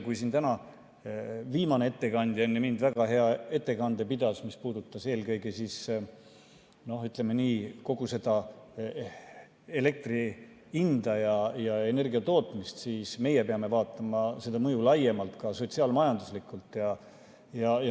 Kui täna viimane ettekandja enne mind väga hea ettekande pidas, mis puudutas eelkõige, ütleme nii, kogu seda elektri hinda ja energiatootmist, siis meie peame vaatama seda mõju laiemalt, ka sotsiaal-majanduslikult.